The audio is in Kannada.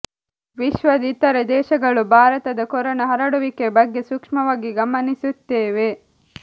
ವಿಶ್ವದ ಇತರ ದೇಶಗಳು ಭಾರತದ ಕೊರೋನ ಹರಡುವಿಕೆ ಬಗ್ಗೆ ಸೂಕ್ಷ್ಮವಾಗಿ ಗಮನಿಸುತ್ತೇವೆ